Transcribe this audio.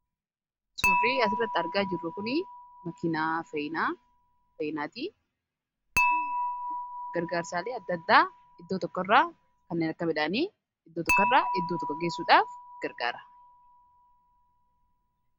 suurrii asirratti argaa jirru kuni makinaa eafeeyinaatii gargaarsaalee addaaddaa iddoo tokko irra kanneen akka medhaanii iddoo tokko irra iddoo tokko geessuudhaaf gargaara